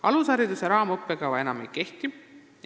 " Alushariduse raamõppekava enam ei kehti.